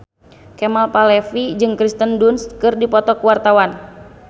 Kemal Palevi jeung Kirsten Dunst keur dipoto ku wartawan